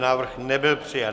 Návrh nebyl přijat.